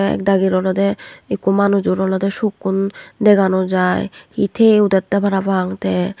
te ek sagor olode ekku manujor sukkun dega no jai he taye udette parapang te.